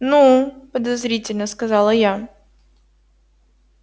ну подозрительно сказала я